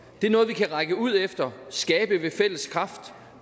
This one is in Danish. det er noget vi kan række ud efter og skabe ved fælles kraft